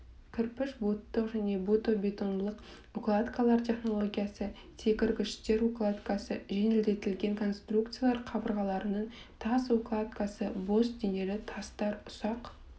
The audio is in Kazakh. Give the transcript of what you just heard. кірпіш буттық және бутобетонлық укладкалар технологиясы секіргіштер укладкасы жеңілдетілген конструкциялар қабырғаларының тас укладкасы бос денелі тастар ұсақ